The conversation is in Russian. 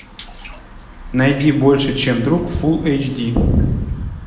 найди больше чем друг фул эйч ди